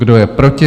Kdo je proti?